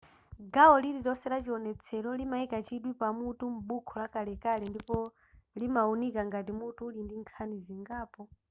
gawo lililonse la chiwonetselo limayika chidwi pa mutu m'buku lakelake ndipo limawunika ngati mutu uli ndi nkhani zingapo